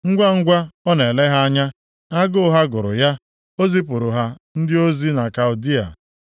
Ngwangwa ọ na-ele ha anya, agụ ha gụrụ ya, o zipụrụ ha ndị ozi na Kaldịa.